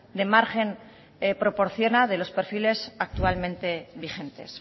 de margen proporciona de los perfiles actualmente vigentes